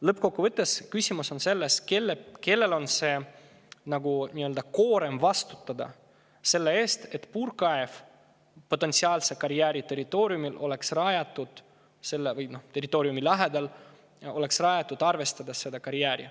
Lõppkokkuvõttes on küsimus selles, kellel lasub see koorem – vastutada selle eest, et puurkaev potentsiaalse karjääri territooriumil või territooriumi lähedal oleks rajatud nii, et on arvestatud seda karjääri.